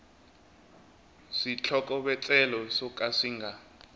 switlhokovetselo swo ka swi nga